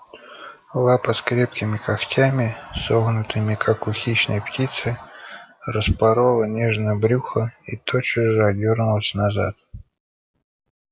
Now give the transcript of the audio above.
лапа с крепкими когтями согнутыми как у хищной птицы распорола нежное брюхо и тотчас же отдёрнулась назад